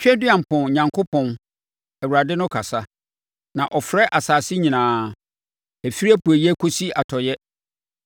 Tweaduampɔn, Onyankopɔn, Awurade no kasa, na ɔfrɛ asase nyinaa ɛfiri apueeɛ kɔsi atɔeɛ.